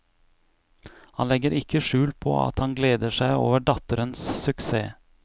Han legger ikke skjul på at han gleder seg over datterens suksess.